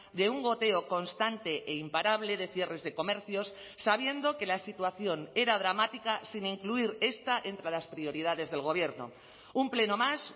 de un goteo constante e imparable de cierres de comercios sabiendo que la situación era dramática sin incluir esta entre las prioridades del gobierno un pleno más